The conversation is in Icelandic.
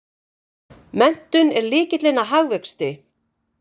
Menntun er lykillinn að hagvexti!